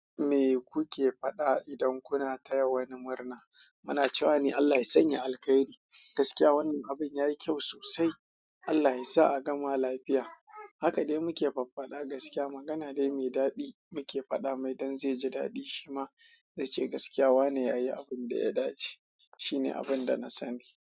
Me kuke faɗa idan kuna taya wani murna? Muna cewa ne, "Allah ya sanya alkairi." Gaskiya wannan abin ya yi kyau sosai. Allah ya sa a gama lafiya. Haka dai muke faffaɗa. Gaskiya magana dai mai daɗi muke faɗa mai, don zai ji daɗi. Shi ma zai ce, gaskiya wanene ya yi abin da ya dace. Shi ne abin da na sani.